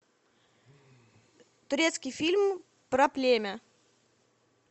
турецкий фильм про племя